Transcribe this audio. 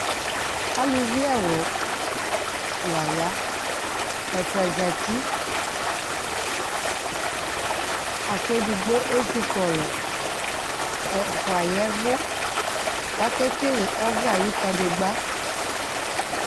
ɑluvi ɛwlu layɑ ɛfua zati ɑkedigbo ɛzikɔlu ɛfuayevu kakekelé ɔve ɑyukadigba